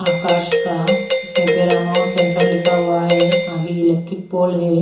आकाश का इसमें Paramount center लिखा हुआ है आगे इलेक्ट्रिक पोल है।